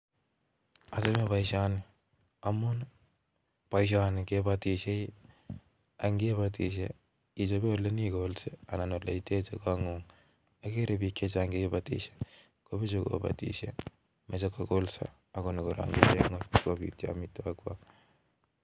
Achamin. poishonii amun ngibatishe nigole. olkekol sigopit inyoruu chepkondok chechang ngialde minutik chikekol